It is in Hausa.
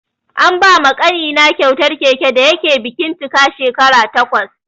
An ba ma ƙanina kyautar keke da yake bikin cika shekara takwas.